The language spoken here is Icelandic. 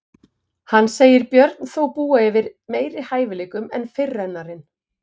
Hann segir Björn þó búa yfir meiri hæfileikum en fyrirrennarinn.